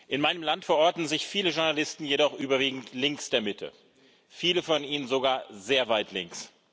In meinem Land verorten sich viele Journalisten jedoch überwiegend links der Mitte, viele von ihnen sogar sehr weit links.